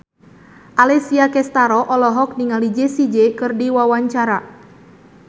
Alessia Cestaro olohok ningali Jessie J keur diwawancara